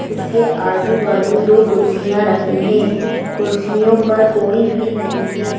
उसके आजू-बाजू दो कुर्सियां रखी हैं कुर्सियों पर कोई भी नहीं है।